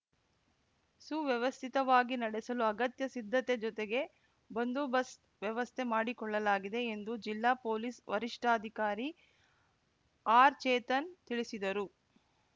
ಸುವ್ಯವಸ್ಥಿತವಾಗಿ ನಡೆಸಲು ಅಗತ್ಯ ಸಿದ್ಧತೆ ಜೊತೆಗೆ ಬಂದೋಬಸ್ತ್ ವ್ಯವಸ್ಥೆ ಮಾಡಿಕೊಳ್ಳಲಾಗಿದೆ ಎಂದು ಜಿಲ್ಲಾ ಪೊಲೀಸ್‌ ವರಿಷ್ಟಾಧಿಕಾರಿ ಆರ್‌ಚೇತನ್‌ ತಿಳಿಸಿದರು